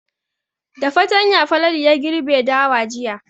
Da fatanya Falalu ya girbe dawa jiya.